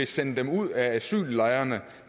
sende dem ud af asyllejrene